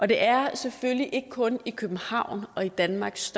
det er selvfølgelig ikke kun i københavn og i danmarks